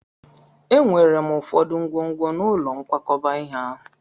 Enwere m ụfọdụ ngwongwo n'ụlọ nkwakọba ihe ahụ.